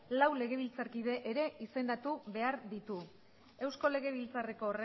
lau legebiltzarkide ere izendatu behar ditu eusko legebiltzarreko